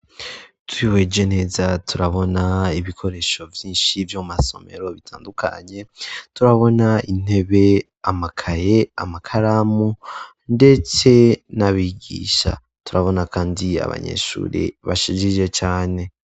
Twihweje neza turabona ibikoresho vyinshi vy'amasomero bitandukanye turabona intebe amakaye amakaramu ndetse n'abigisha turabona kandi abanyeshuri bashigije cane.